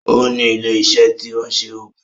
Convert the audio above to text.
O ní ilé iṣẹ́ tí ń se oògùn